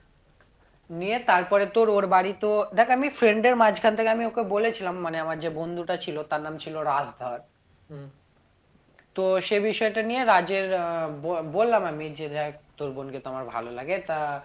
নিয়ে তারপরে তোর ওর বাড়ি তো দেখ আমি friend এর মাঝখান থেকে আমি ওকে বলেছিলাম মানে আমার যে বন্ধুটা ছিল তার নাম ছিল রাজ ধর হম তো সে বিষয়টা নিয়ে রাজের আহ বলবললাম আমি যে দেখ তোর বোনকে তো আমার ভালো লাগে তা